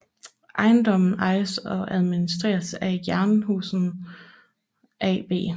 Ejendommen ejes og administreres af Jernhusen AB